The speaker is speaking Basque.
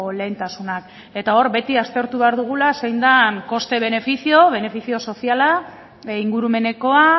lehentasunak eta hor beti aztertu behar dugula zein den coste beneficio benefizio soziala ingurumenekoa